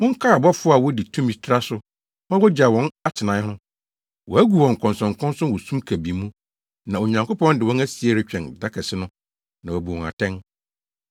Monkae abɔfo a wodii tumi traa so ma wogyaw wɔn atenae no. Wɔagu wɔn nkɔnsɔnkɔnsɔn wɔ sum kabii mu, na Onyankopɔn de wɔn asie retwɛn da kɛse no na wabu wɔn atɛn.